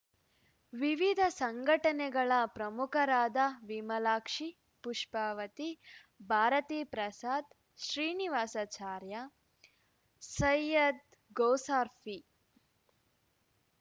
ವಿವಿಧ ಸಂಘಟನೆಗಳ ಪ್ರಮುಖರಾದ ವಿಮಲಾಕ್ಷಿ ಪುಪ್ಪಾವತಿ ಭಾರತಿ ಪ್ರಸಾದ್‌ ಶ್ರೀನಿವಾಸಾಚಾರ್ಯ ಸೈಯ್ಯದ್‌ಗೌಸ್ರಫಿ